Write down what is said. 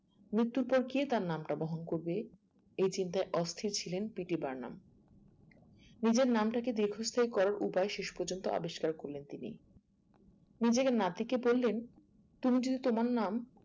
মৃত্যুর পর কে তার নাম তা বহন করবে এ চিন্তায় অস্থির ছিলেন তিনি PT বার্নাম নিজের নামটাকে দীর্ধস্থায়ী করার উপায়ে শেষ পর্যন্ত আবিষ্কার করলেন তিনি নিজেকে নাতিকে বললেন তুমি যদি তোমার নাম